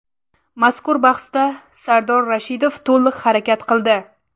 Mazkur bahsda Sardor Rashidov to‘liq harakat qildi.